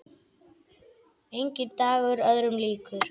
Enginn dagur öðrum líkur.